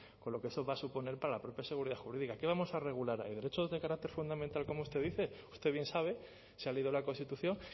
con lo que eso va a suponer para la propia seguridad jurídica qué vamos a regular ahí derechos de carácter fundamental como usted dice usted bien sabe se ha leído la constitución